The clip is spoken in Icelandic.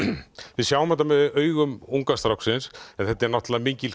við sjáum þetta með augum unga stráksins en þetta er náttúrulega mikil